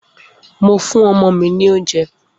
Mo fún ọmọ mi lóúnjẹ.